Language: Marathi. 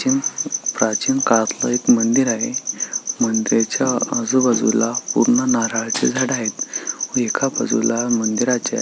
चीन प्राचीन काळातलं एक मंदिर आहे मंदिराच्या आजूबाजूला पूर्ण नारळाची झाडं आहेत व एका बाजूला मंदिराच्या--